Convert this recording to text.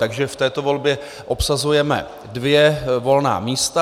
Takže v této volbě obsazujeme dvě volná místa.